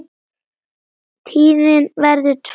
Tíðin verður tvenn og þrenn.